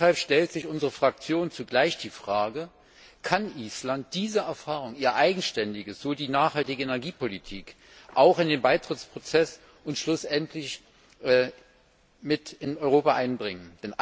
Deshalb stellt sich unsere Fraktion zugleich die Frage Kann Island diese Erfahrungen, etwa mit der nachhaltigen Energiepolitik, auch in den Beitrittsprozess und schlussendlich mit in Europa einbringen?